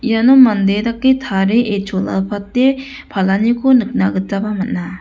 iano mande dake tarie chola pate palaniko nikna gitaba man·a.